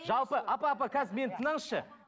жалпы апа апа қазір мені тыңданызшы